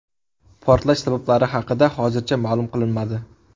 Portlash sabablari haqida hozircha ma’lum qilinmadi.